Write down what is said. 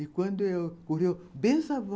E quando eu ocorreu, benção vó.